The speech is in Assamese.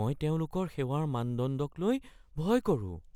মই তেওঁলোকৰ সেৱাৰ মানদণ্ডকলৈ ভয় কৰোঁ।